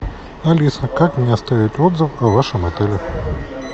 алиса как мне оставить отзыв о вашем отеле